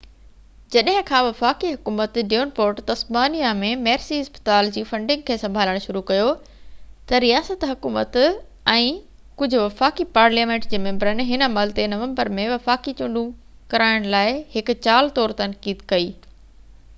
جڏهن کان وفاقي حڪومت ڊيونپورٽ تسمانيا ۾ ميرسي اسپتال جي فنڊنگ کي سنڀالڻ شروع ڪيو ته رياست حڪومت ۽ ڪجهه وفاقي پارليامينٽ جي ميمبرن هن عمل تي نومبر ۾ وفاقي چونڊ ڪرائڻ لاءِ هڪ چال طور تنقيد ڪئي